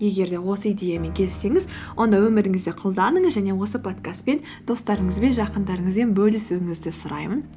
егер де осы идеямен келіссеңіз онда өміріңізде қолданыңыз және осы подкастпен достарыңызбен жақындарыңызбен бөлісуіңізді сұраймын